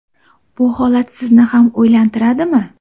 Bu holat sizni ham o‘ylantiradimi?